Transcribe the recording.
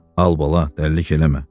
Al bala, dəlilik eləmə.